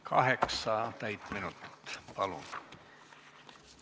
Kaheksa täit minutit, palun!